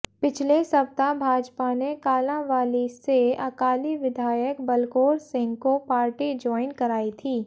पिछले सप्ताह भाजपा ने कालांवाली से अकाली विधायक बलकौर सिंह को पार्टी ज्वाइन करवाई थी